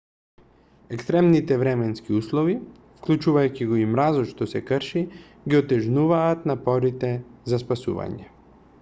екстремните временски услови вклучувајќи го и мразот што се крши ги отежнуваат напорите за спасување